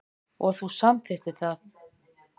Og þú samþykktir það.